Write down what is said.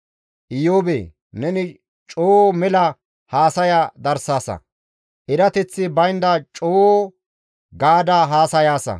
Iyoobee! Neni coo mela haasaya darsaasa; erateththi baynda coo gaada haasayaasa.»